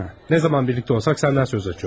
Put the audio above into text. Nə zaman birlikdə olsaq səndən söz açıyor.